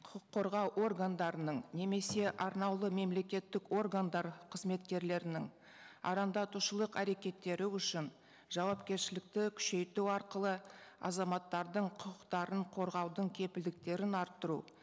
құқық қорғау органдарының немесе арнаулы мемлекеттік органдар қызметкерлерінің арандатушылық әрекеттері үшін жауапкершілікті күшейту арқылы азаматтардың құқықтарын қорғаудың кепілдіктерін арттыру